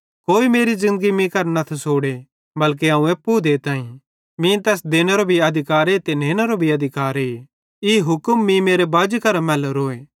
कोई मेरी ज़िन्दगी मीं करां न थसोड़े बल्के अवं एप्पू देताईं मीं तैस देनेरू भी अधिकारे ते नेनेरो भी अधिकारे ई हुक्म मीं मेरे बाजी करां मैलोरोए